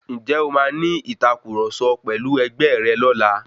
Ǹjẹ́ o màa ní ìtàkurọ̀sọ pẹ̀lu ẹgbẹ̀ rẹ lọ́la?